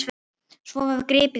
Svo var gripið í spil.